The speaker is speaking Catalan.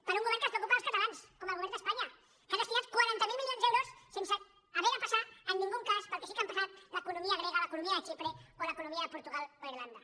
per un govern que es preocupa dels catalans com el govern d’espanya que ha destinat quaranta miler milions d’euros sense haver de passar en cap cas pel que sí que han passat l’economia grega l’economia de xipre o l’economia de portugal o irlanda